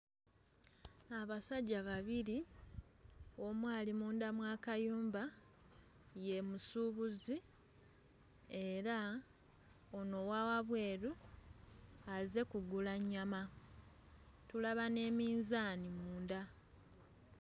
Abasajja babiri, omu ali munda mw'akayumba ye musuubuzi era ono owawabweru azze kugula nnyama, tulaba ne minzaani munda.